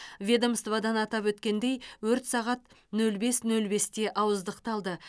ведомстводан атап өткендей өрт сағат нөл бес нөл бесте ауыздықталды